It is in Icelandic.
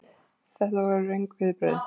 Þetta voru röng viðbrögð.